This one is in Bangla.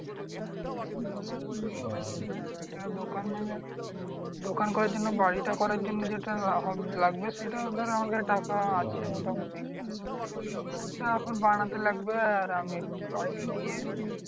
হ্যাঁ সেটা দোকান মানে দোকান করার জন্য বাড়িটা করার জন্য যেটা লাগবে সেটা ধর আমার কাছে টাকা আছে মোটামুটি। তো ওটা এখন বানাতে লাগবে আর আমি একটু বাইরে গিয়ে